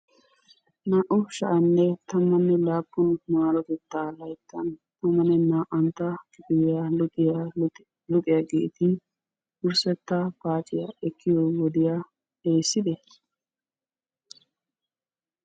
Naa"u sha'anne. tammanne laappun maarotettaa layttan tammanne naa"antta kifiliya luxiya luxiyageeti wursstta paaciya ekkiyo wodiya erissidee?